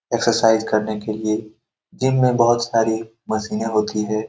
Exercise करने के लिए जिम में बहुत सारी मशीनें होती है।